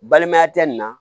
Balimaya tɛ nin na